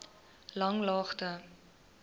langlaagte